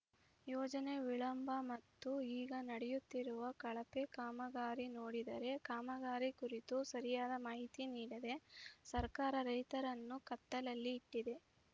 ಯೋಜನೆ ವಿಳಂಬ ಮತ್ತು ಈಗ ನಡೆಯುತ್ತಿರುವ ಕಳಪೆ ಕಾಮಗಾರಿ ನೋಡಿದರೆ ಕಾಮಗಾರಿ ಕುರಿತು ಸರಿಯಾದ ಮಾಹಿತಿ ನೀಡದೆ ಸರ್ಕಾರ ರೈತರನ್ನು ಕತ್ತಲಲ್ಲಿ ಇಟ್ಟಿದೆ